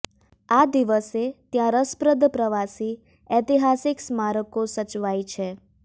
આ દિવસે ત્યાં રસપ્રદ પ્રવાસી ઐતિહાસિક સ્મારકો સચવાય છે